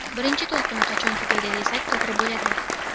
Birinchi to‘lqin qachon tugaydi, desak to‘g‘ri bo‘ladi.